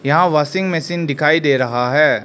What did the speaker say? यहां washing machine दिखाई दे रहा है।